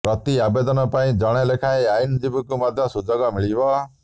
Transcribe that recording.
ପ୍ରତି ଆବେଦନ ପାଇଁ ଜଣେ ଲେଖାଏଁ ଆଇନଜୀବୀଙ୍କୁ ମଧ୍ୟ ସୁଯୋଗ ମିଳିବ